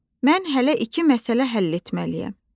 Mən hələ iki məsələ həll etməliyəm.